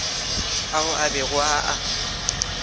ao a bego a a